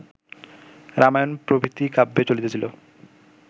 রামায়ণ প্রভৃতি কাব্যে চলিতেছিল